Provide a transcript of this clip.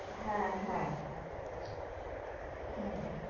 হ্যাঁ হ্যাঁ হম